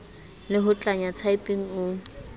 le ho tlanya typing o